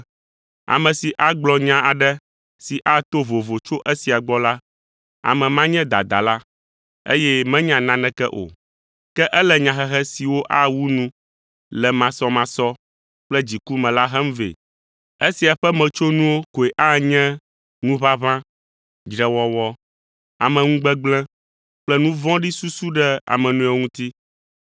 Ame si agblɔ nya aɖe si ato vovo tso esia gbɔ la, ame ma nye dadala, eye menya naneke o. Ke ele nyahehe siwo awu nu le masɔmasɔ kple dziku me la hem vɛ. Esia ƒe metsonuwo koe anye ŋuʋaʋã, dzrewɔwɔ, ameŋugbegblẽ kple nu vɔ̃ɖi susu ɖe ame nɔewo ŋuti.